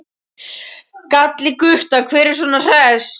gall í Gutta, hver er svona hress?